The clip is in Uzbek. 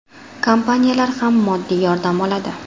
Kompaniyalar ham moddiy yordam oladi.